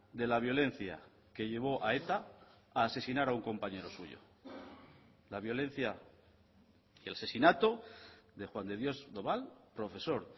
de la violencia que llevó a eta a asesinar a un compañero suyo la violencia que el asesinato de juan de dios doval profesor